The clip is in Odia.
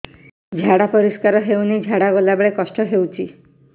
ଝାଡା ପରିସ୍କାର ହେଉନି ଝାଡ଼ା ଗଲା ବେଳେ କଷ୍ଟ ହେଉଚି